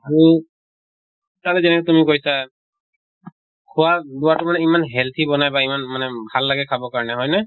সেই তাতা যেনেকে তুমি কৈছা খোৱা বোৱা টো ইমান healthy বনায় বা ইমান মানে ভাল লাগে খাব কাৰণে হয় নে?